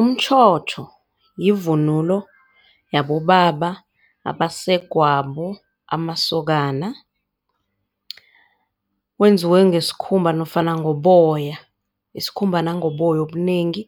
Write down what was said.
Umtjhotjho yivunulo yabobaba, abasegwabo, amasokana wenziwe ngesikhumba nofana ngoboya isikhumba nangoboya obunengi